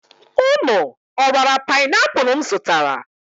Ụnụ ọ raala panaipụlụ m zụtara?